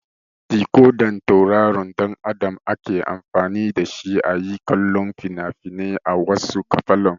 Dikodan tauraron ɗan Adam ake amfani da shi a yi kallo fina-finai a wasu falon.